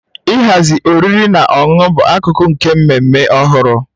Ịhazi oriri na ọṅụṅụ bụ akụkụ nke mmemme ọhụrụ